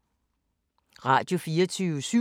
Radio24syv